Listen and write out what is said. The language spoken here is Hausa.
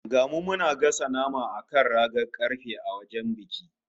Ga mu muna gasa nama a kan ragar karfe a wajen biki